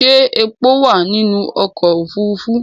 Ṣẹ́ epo wà nínú ọkọ̀ òfurufú?